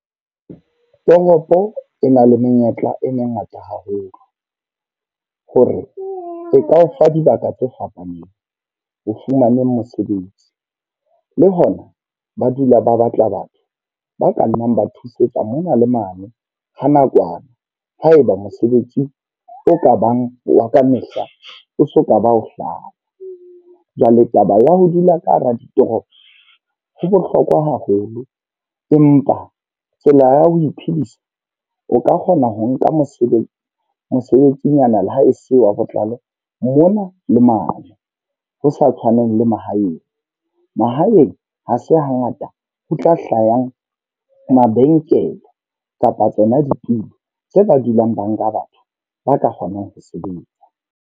Toropo e na le menyetla e mengata haholo. Hore e ka o fa dibaka tse fapaneng, ho fumaneng mosebetsi. Le hona ba dula ba batla batho ba ka nnang ba thusetsa mona le mane ha nakwana. Ha e ba mosebetsi o ka bang wa kamehla, o so ka ba o hlaha. Jwale taba ya ho dula ka hara ditoropo ho bohlokwa haholo. Empa tsela ya ho iphedisa, o ka kgona ho nka mosebetsi mosebetsinyana lehae seo wa botlalo mona le mane. Ho sa tshwaneng le mahaeng. Mahaeng ha se hangata ho tla hlahang mabenkele kapa tsona ditulo tse ba dulang ba nka batho ba ka kgonang ho sebetsa.